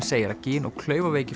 segir að gin og